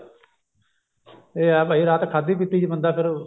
ਇਹ ਆ ਭਾਈ ਰਾਤ ਖਾਦੀ ਪਿੱਤੀ ਚ ਬੰਦਾ ਫੇਰ